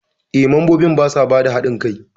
Eh, mambobin basa bada hadin kai.